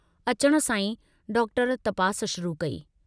अचण सां ई डॉक्टर तपास शुरू कई।